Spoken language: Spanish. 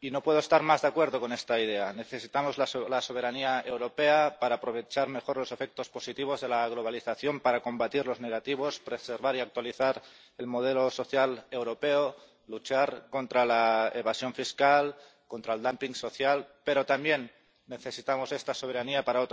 y no puedo estar más de acuerdo con esta idea necesitamos la soberanía europea para aprovechar mejor los efectos positivos de la globalización, combatir los negativos, preservar y actualizar el modelo social europeo, luchar contra la evasión fiscal y contra el dumping social. Pero también necesitamos esta soberanía para otra cosa